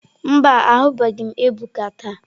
Mba, ahụbeghị m Ebuka taa.